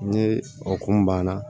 Ni okumu banna